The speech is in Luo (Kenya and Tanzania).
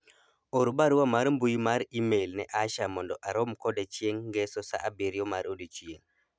or barua mar mbui mar email ne Asha mondo arom kode chieng' ngeso saa abiriro mar odiochieng'